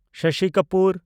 Shashi Kapoor